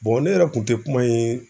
ne yɛrɛ kun tɛ kuma in